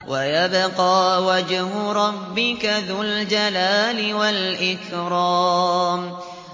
وَيَبْقَىٰ وَجْهُ رَبِّكَ ذُو الْجَلَالِ وَالْإِكْرَامِ